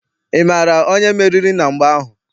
Ị maara onye meriri na mgba ahụ?